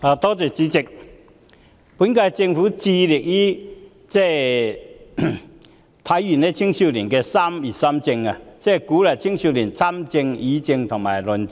代理主席，本屆政府致力於體現青少年的"三業三政"，即鼓勵青少年參政、議政和論政。